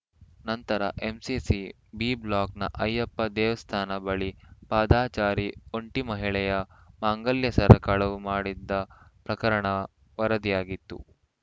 ನಂತರ MCC B ಬ್ಲಾಕ್‌ನ ಅಯ್ಯಪ್ಪ ದೇವಸ್ಥಾನ ಬಳಿ ಪಾದಚಾರಿ ಒಂಟಿ ಮಹಿಳೆಯ ಮಾಂಗಲ್ಯ ಸರ ಕಳವು ಮಾಡಿದ್ದ ಪ್ರಕರಣ ವರದಿಯಾಗಿತ್ತು